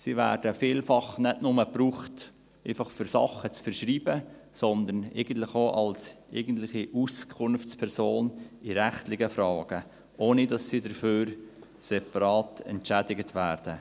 Sie werden vielfach nicht nur gebraucht, um einfach Sachen zu verschreiben, sondern auch als eigentliche Auskunftspersonen in rechtlichen Fragen, ohne dass sie dafür separat entschädigt werden.